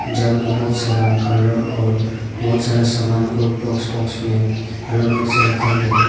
जहां में बहुत सारा कलर और बहुत सारा सामान को बॉक्स बॉक्स में अलग अलग से रखा गया है।